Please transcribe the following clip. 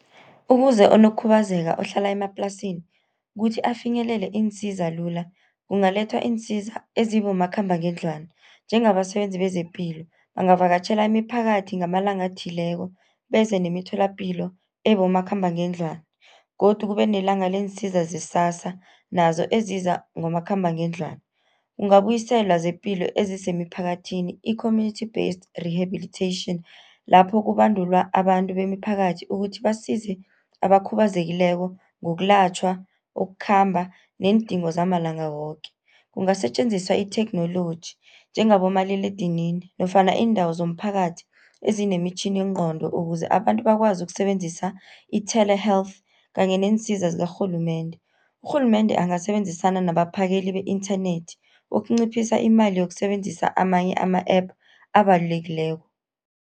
Ukuze onokukhubazeka ohlala emaplasini kuthi afinyelele iinsiza lula. Kungalethwa iinsiza ezibomakhambangendlwana, njengabasebenzi bezepilo bangavakatjhela imiphakathi ngamalanga athileko beze nemitholapilo ebomakhambangendlwana. Godu kube nelanga leensiza ze-SASSA nazo eziza ngomakhambangendlwana. Kungabuyiselwa zepilo ezise emiphakathini i-commmunity based rehabilitation, lapho kubandulwa abantu bemiphakathi, ukuthi basize abakhubazekileko ngokulatjhwa, ukukhamba neendingo zamalanga woke. Kungasetjenziswa itheknoloji njengabomaliledinini nofana iindawo zomphakathi ezinemitjhiningqondo, ukuze abantu bakwazi ukusebenzisa i-tele health kanye neensiza zikarhulumende. Urhulumende angasebenzisana nabaphakeli be-inthanethi, ukunciphisa imali yokusebenzisa amanye ama-app abalulekileko.